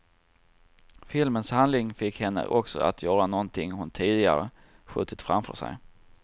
Filmens handling fick henne också att göra någonting hon tidigare skjutit framför sig.